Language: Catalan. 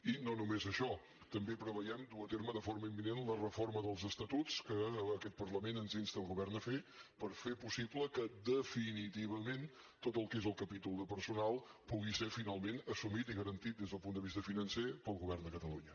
i no només això també preveiem dur a terme de forma imminent la reforma dels estatuts que aquest parlament ens insta al govern a fer per fer possible que definitivament tot el que és el capítol de personal pugui ser finalment assumit i garantit des del punt de vista financer pel govern de catalunya